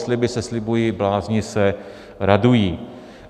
Sliby se slibují, blázni se radují.